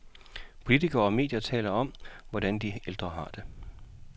Politikerne og medierne taler om, hvordan de ældre har det,